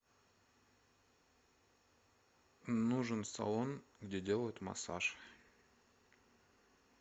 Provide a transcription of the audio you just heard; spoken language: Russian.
нужен салон где делают массаж